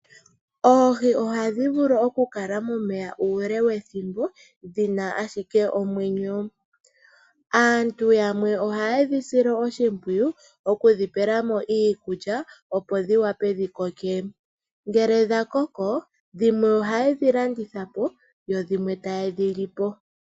Oohi ohadhi vulu okukala momeya uule wethimbo, dhina ashike omwenyo. Aantu yamwe ohayedhi sile oshimpyiyu, okudhipela mo iikulya opo dhiwape okukoka. Ngele dhakoko, dhimwe ohaye dhi landithapo, yo dhimwe ta yedhilipo.